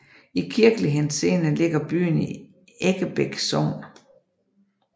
I kirkelig henseende ligger byen i Eggebæk Sogn